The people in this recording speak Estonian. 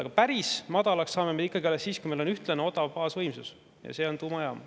Aga päris madalaks saame me need ikkagi alles siis, kui meil on ühtlane odav baasvõimsus, ja see on tuumajaam.